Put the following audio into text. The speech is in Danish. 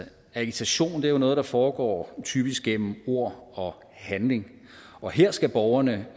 agitation er jo noget der foregår typisk gennem ord og handling og her skal borgerne